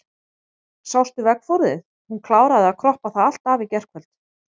Sástu veggfóðrið, hún kláraði að kroppa það allt af í gærkvöld.